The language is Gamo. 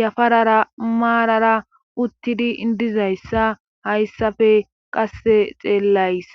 yafarara maarara uttidi dizayssa hayssafe qasse xeellays